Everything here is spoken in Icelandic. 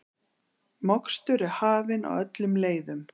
Mokstur er hafin á öllum leiðum